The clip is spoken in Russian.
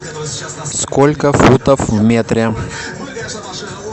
сколько футов в метре